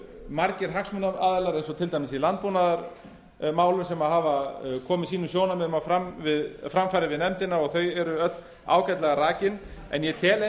margir hagsmunaaðilar eins og til dæmis í landbúnaðarmálum sem hafa komið sínum sjónarmiðum á framfæri við nefndina og þau eru öll ágætlega rakin en ég tel